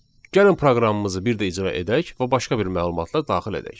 Gəlin proqramımızı bir də icra edək və başqa bir məlumatla daxil edək.